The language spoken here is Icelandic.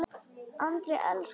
Andri elskaði Möggu.